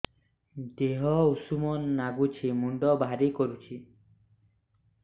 ଦିହ ଉଷୁମ ନାଗୁଚି ମୁଣ୍ଡ ଭାରି କରୁଚି